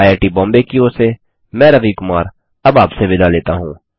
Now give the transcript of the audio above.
IIT Bombay की ओर से मैं रवि कुमार अब आपसे विदा लेता हूँ